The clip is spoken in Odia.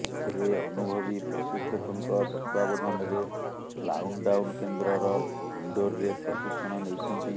ସେ ଅନୁଭବୀ ପ୍ରଶିକ୍ଷକଙ୍କ ତତ୍ୱାବଧାନରେ ଲାଉନଡାଉନ୍ କେନ୍ଦ୍ରର ଇନଡୋରରେ ପ୍ରଶିକ୍ଷଣ ନେଇଛନ୍ତି